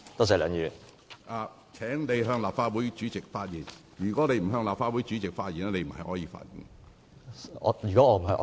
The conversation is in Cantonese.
請你向立法會主席發言。如果你不是向立法會主席發言，你不可以發言。